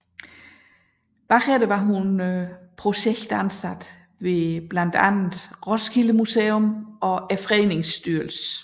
Herefter var hun projektansat ved blandt andet Roskilde Museum og Fredningsstyrelsen